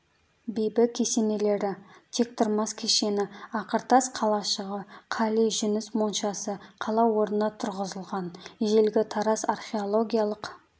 бибі кесенелері тектұрмас кешені ақыртас қалашығы қали жүніс моншасы қала орнына тұрғызылған ежелгі тараз археологиялық